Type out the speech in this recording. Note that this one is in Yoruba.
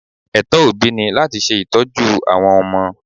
Ẹ̀tọ́ òbí ni láti ṣe ìtọ́jú àwọn ọmọ.